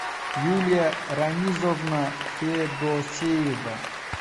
юлия рамизовна федосеева